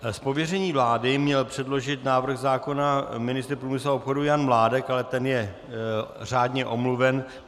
Z pověření vlády měl předložit návrh zákona ministr průmyslu a obchodu Jan Mládek, ale ten je řádně omluven.